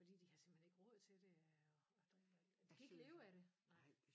Fordi de har simpelthen ikke råd til det at og og drive al de kan ikke leve af det nej